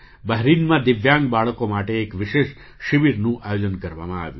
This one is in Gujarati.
બહરીનમાં દિવ્યાંગ બાળકો માટે એક વિશેષ શિબિરનું આયોજન કરવામાં આવ્યું